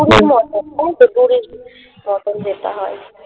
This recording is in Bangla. দঁড়ির মতো ওই তো দড়ির মতন যেটা হয়